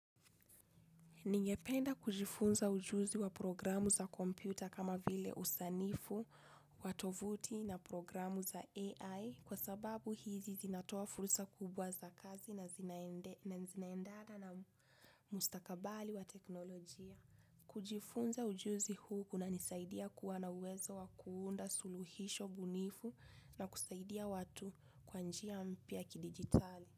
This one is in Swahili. Ningependa kujifunza ujuzi wa programu za kompyuta kama vile usanifu, wa tovuti na programu za AI kwa sababu hizi zinatoa fursa kubwa za kazi na zinaendana na mustakabali wa teknolojia. Kujifunza ujuzi huu kunanisaidia kuwa na uwezo wa kuunda suluhisho bunifu na kusaidia watu kwa njia mpya ya kidigitali.